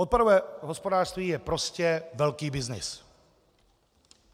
Odpadové hospodářství je prostě velký byznys.